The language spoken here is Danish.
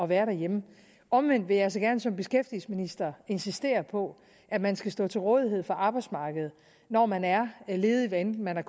være derhjemme omvendt vil jeg så gerne som beskæftigelsesminister insistere på at man skal stå til rådighed for arbejdsmarkedet når man er ledig hvad enten man